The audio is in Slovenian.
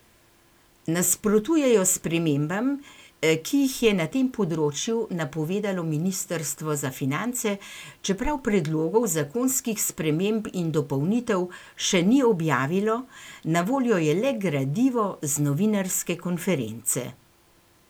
Nasprotujejo spremembam, ki jih je na tem področju napovedalo ministrstvo za finance, čeprav predlogov zakonskih sprememb in dopolnitev še ni objavilo, na voljo je le gradivo z novinarske konference.